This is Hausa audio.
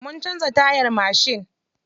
Mun canza tayar mashin.